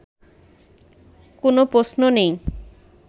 কোনো প্রশ্ন নেই